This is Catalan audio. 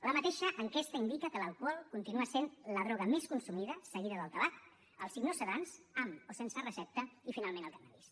la mateixa enquesta indica que l’alcohol continua sent la droga més consumida seguida del tabac els hipnosedants amb o sense recepta i finalment el cànnabis